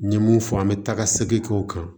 N ye mun fɔ an bɛ taa ka segin k'o kan